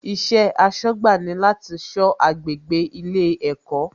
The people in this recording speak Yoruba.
Iṣẹ́ aṣọ́gbà ni láti sọ agbègbè ilé ẹ̀kọ́